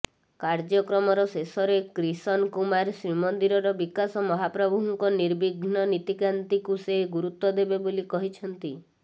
କାର୍ଯ୍ୟକ୍ରମର ଶେଷରେ କ୍ରିଷନ କୁମାର ଶ୍ରୀମନ୍ଦିରର ବିକାଶ ମହାପ୍ରଭୁଙ୍କ ନିର୍ବିଘ୍ନ ନୀତିକାନ୍ତିକୁ ସେ ଗୁରୁତ୍ୱ ଦେବେ ବୋଲି କହିଛନ୍ତି